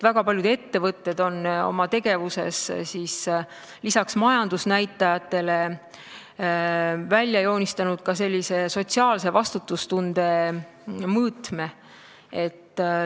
Väga paljud ettevõtted on oma tegevuses peale majandusnäitajate välja joonistanud ka sotsiaalse vastutustunde mõõtme.